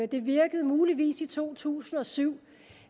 det virkede muligvis i to tusind og syv